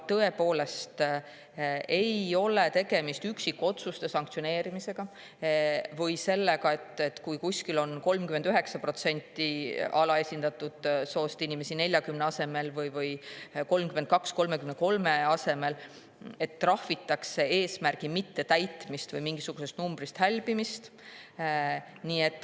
Tõepoolest, tegemist ei ole üksikotsuste sanktsioneerimisega või sellega, et kui kuskil on alaesindatud soo 40% asemel 39% või 33% asemel 32%, siis trahvitakse eesmärgi mittetäitmist või mingisugusest numbrist hälbimist.